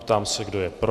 Ptám se, kdo je pro.